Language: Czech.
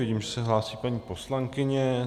Vidím, že se hlásí paní poslankyně.